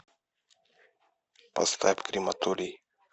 поставь крематорий